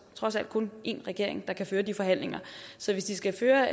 trods alt kun én regering der kan føre de forhandlinger så hvis de skal føre